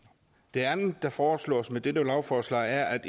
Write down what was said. det andet der foreslås med dette lovforslag er